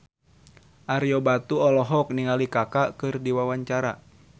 Ario Batu olohok ningali Kaka keur diwawancara